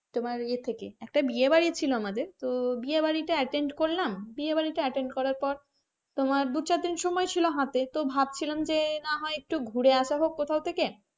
তোমার ইয়ে থেকে একটা বিয়ে বাড়ি ছিল আমাদের তো বিয়ে বাড়িটা attend করলাম বিয়ে বাড়িটা attend করার পর তোমার দু চার দিন সময় ছিল হাতে তোভাবছিলাম যে না হয় একটু ঘুরে আসা হোক কোথা থেকে,